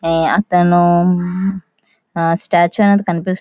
ఏ అతను స్టాట్యూ అనేది కనిపిస్తుంద--